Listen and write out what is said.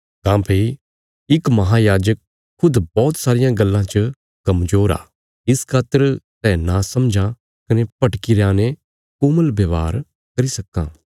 काँह्भई इक महांयाजक खुद बौहत सारियां गल्लां च कमजोर आ इस खातर सै नासमझां कने भटकीरयां ने कोमल व्यवहार करी सक्कां